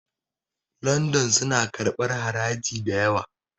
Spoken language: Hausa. London suna karɓar haraji da yawa